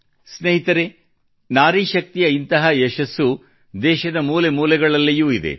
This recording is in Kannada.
ಸ್ನೇಹಿತರೆ ನಾರಿ ಶಕ್ತಿಯ ಇಂತಹ ಯಶಸ್ಸು ದೇಶದ ಮೂಲೆಮೂಲೆಗಳಲ್ಲಿಯೂ ಇದೆ